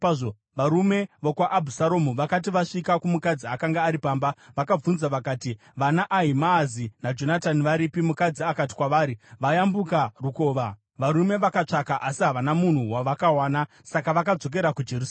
Varume vokwaAbhusaromu vakati vasvika kumukadzi akanga ari pamba, vakabvunza vakati, “VanaAhimaazi naJonatani varipi?” Mukadzi akati kwavari, “Vayambuka rukova.” Varume vakatsvaka asi havana munhu wavakawana, saka vakadzokera kuJerusarema.